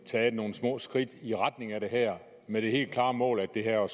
taget nogle små skridt i retning af det her med det helt klare mål at det her jo